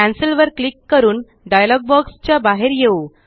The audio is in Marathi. कॅन्सेल वर क्लिक करून डायलॉग बॉक्स च्या बाहेर येऊ